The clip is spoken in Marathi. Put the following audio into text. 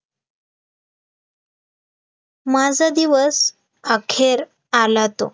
माझा दिवस अखेर आला तो